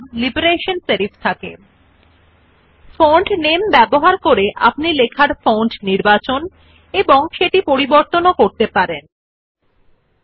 font এর নাম নির্বাচন করে ফন্ট টাইপ আপনি লগইন করেননি আপনার টেক্সট টাইপ করতে ইচ্ছুক পরিবর্তন ব্যবহৃত হয়Font নামে is used to select and change the type of font you wish to type your text in